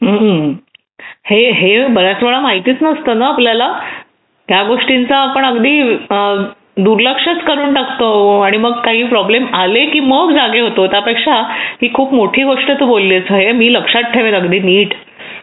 हे हे बराच वेळा माहितीच नसतं ना आपल्याला या गोष्टींचा आपण अगदी दुर्लक्ष करून टाकतो आणि मग काही प्रॉब्लेम आले की मग जागे होतो त्यापेक्षा ही खूप मोठी गोष्ट तू बोललीस हे मी लक्षात ठेवेल अगदी नीट